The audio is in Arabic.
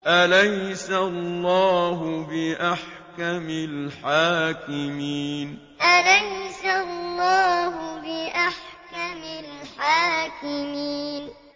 أَلَيْسَ اللَّهُ بِأَحْكَمِ الْحَاكِمِينَ أَلَيْسَ اللَّهُ بِأَحْكَمِ الْحَاكِمِينَ